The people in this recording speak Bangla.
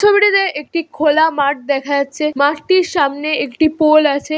ছবিটিতে একটি খোলা মাঠ দেখা যাচ্ছে মাটির সামনে একটি পোল আছে।